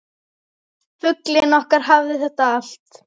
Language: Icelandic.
Fuglinn okkar hafði þetta allt.